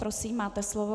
Prosím, máte slovo.